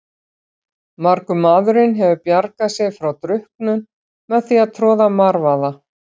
Margur maðurinn hefur bjargað sér frá drukknun með því að troða marvaða.